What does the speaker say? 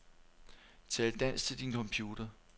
Tal dansk til din computer.